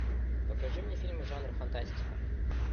покажи мне фильмы жанра фантастика